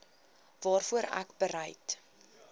waarvoor ek bereid